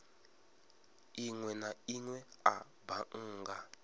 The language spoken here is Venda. inwe na inwe a bannga